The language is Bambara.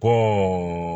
Kɔ